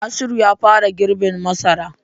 Nasiru ya fara girbin masara.